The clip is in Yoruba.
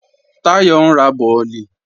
Táyọ̀ ń ra bọ̀lì